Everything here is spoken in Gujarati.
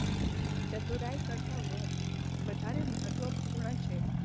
ચતુરાઇ કરતાં વધ વધારે મહત્વપૂર્ણ છે.